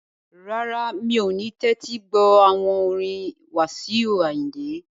Rárá, mi ò ní tẹ́tí gbọ́ àwọn orin Wasiu Ayinde